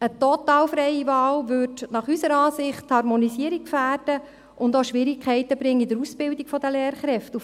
Eine total freie Wahl würde unserer Ansicht nach die Harmonisierung gefährden und auch Schwierigkeiten bei der Ausbildung der Lehrkräfte bringen.